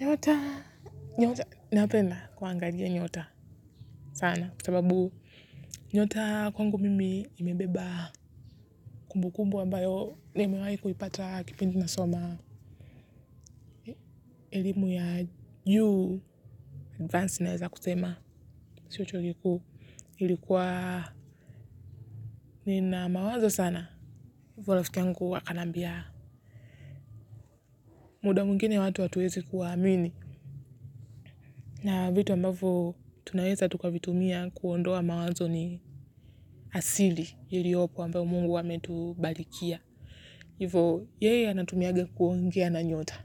Nyota, nyota napenda kwa angajia nyota sana kwasababu nyota kwangu mimi imebeba kumbu kumbu wambayo nimewahi kuipata kipindi na soma elimu ya juu advance naweza kusema sio chuo kikuu ilikuwa nina mawazo sana hivyo rafiki yangu huwa anaambia muda mwingine watu hatuwezi kuwa amini na vitu ambavyo tunaweza tukavitumia kuondoa mawazo ni asili iliopo ambayo mungu ametubarikia hivyo yeye anatumia kuongea na nyota